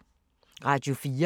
Radio 4